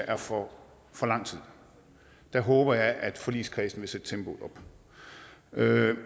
er for for lang tid der håber jeg at forligskredsen vil